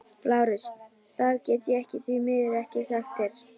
LÁRUS: Það get ég því miður ekki sagt þér.